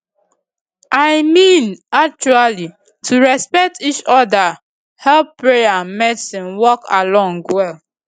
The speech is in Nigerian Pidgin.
i mean actually to respect each oda help prayer and medicine work along well